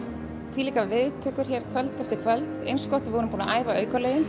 þvílíkar viðtökur kvöld eftir kvöld eins gott að við vorum búin að æfa